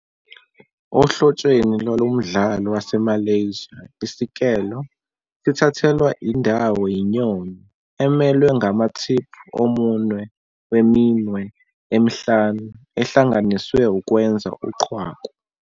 Ohlotsheni lwalo mdlalo waseMalaysia, "isikelo" sithathelwa indawo "yinyoni," emelwe ngamathiphu omunwe weminwe emihlanu ehlanganiswe ukwenza uqhwaku.